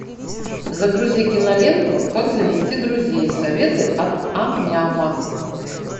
загрузи киноленту как завести друзей советы от ам няма